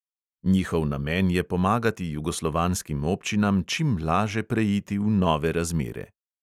Njihov namen je pomagati jugoslovanskim občinam čim laže preiti v nove razmere.